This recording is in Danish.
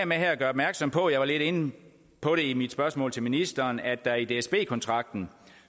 med her at gøre opmærksom på jeg var lidt inde på det i mit spørgsmål til ministeren at der i dsb kontrakten